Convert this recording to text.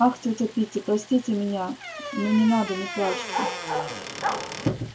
ах тётя питти простите меня ну не надо не плачьте